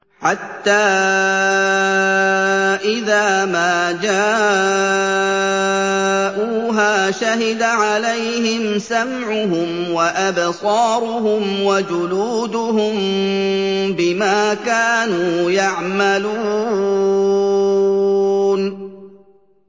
حَتَّىٰ إِذَا مَا جَاءُوهَا شَهِدَ عَلَيْهِمْ سَمْعُهُمْ وَأَبْصَارُهُمْ وَجُلُودُهُم بِمَا كَانُوا يَعْمَلُونَ